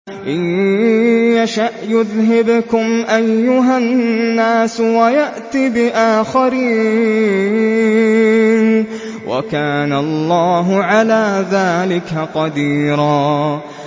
إِن يَشَأْ يُذْهِبْكُمْ أَيُّهَا النَّاسُ وَيَأْتِ بِآخَرِينَ ۚ وَكَانَ اللَّهُ عَلَىٰ ذَٰلِكَ قَدِيرًا